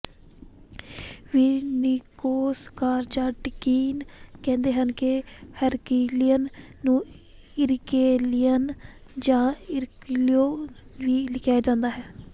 ਵੀ Nikos Kazantzakis ਕਹਿੰਦੇ ਹਨ Heraklion ਨੂੰ ਇਰਕਲੀਅਨ ਜਾਂ ਇਰਕਲੀਓ ਵੀ ਲਿਖਿਆ ਗਿਆ ਹੈ